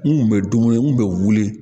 N kun bɛ dumuni n kun bɛ wuli